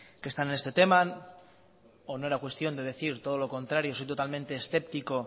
que están en este tema o no era cuestión de decir todo lo contrario soy totalmente escéptico